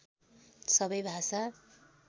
सबै भाषा